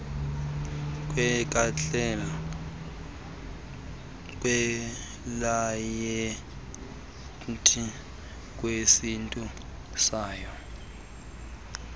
kweklayenti kwisiqu sayo